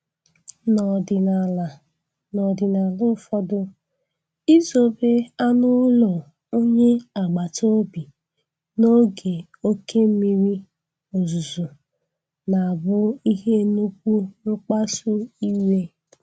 N'ọdịnala N'ọdịnala ụfọdụ, izobe anụ ụlọ onye agbata obi n'oge oke mmiri ozuzo na abu ihe nnukwu nkpasu iwe.